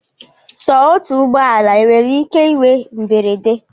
Sọ otu ụgbọala enwere ike inwe mberede?